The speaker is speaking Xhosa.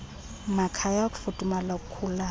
makhaya ukufudumala okukhulayo